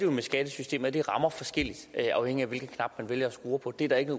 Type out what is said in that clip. med skattesystemet at det rammer forskelligt afhængigt af hvilken knap man vælger at skrue på det er der ikke